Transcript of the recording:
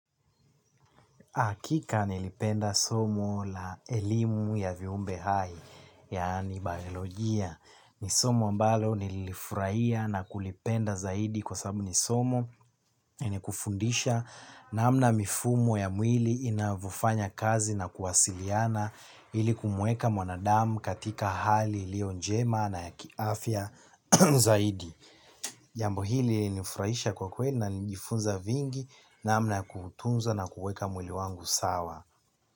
Hakika nilipenda somo la elimu ya viumbe hai yaani baiolojia ni somo ambalo nililifurahia na kulipenda zaidi kwa sababu ni somo ni kufundisha namna mifumo ya mwili inavofanya kazi na kuwasiliana ili kumweka mwanadamu katika hali ilio njema na ya kiafya zaidi. Jambo hili lilinifurahisha kwa kweli na nilijifunza vingi namna ya kuutunza na kuuweka mwili wangu sawa.